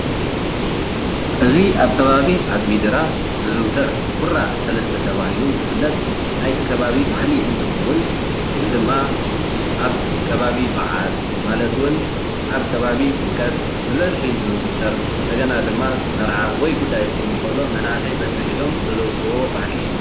እዚ ኣብ ከባቢ ኣፅቢደራ ዝዝውተር ሁራ ሰለስተ ተባሂሉ ዝፍለጥ ናይቲ ከባቢ ባህሊ እንትከውን እዚ ድማ ኣብ ከባቢ በዓል ማለት እውን ኣብ ከባቢ ጥምቀት ብበዝሒ ዝዝውተር እንደገና ድማ መርዓ ወይ ጉዳይ እንትህሉ ከሎ መናእሰይ በትሪ ሒዞም ዘዘውትርዎ ባህሊ እዩ፡፡